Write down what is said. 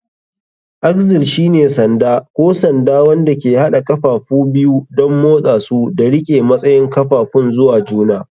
Axle shine sanda ko sanda wanda ke haɗa ƙafafu biyu don motsa su da riƙe matsayin ƙafafun zuwa juna.